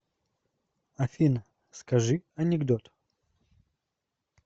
афина скажи анекдот